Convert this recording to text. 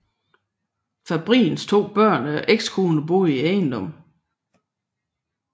Fabrins to børn og ekskone boede i ejendommen